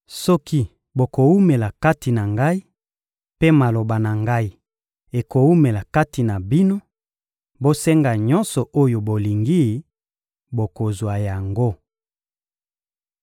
Soki bokowumela kati na Ngai, mpe maloba na Ngai ekowumela kati na bino, bosenga nyonso oyo bolingi, bokozwa yango.